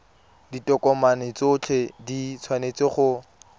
ditokomane tsotlhe di tshwanetse go